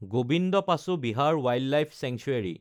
Gobinda Pashu Vihar wildlife sanctuary